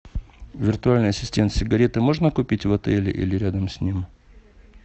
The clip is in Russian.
виртуальный ассистент сигареты можно купить в отеле или рядом с ним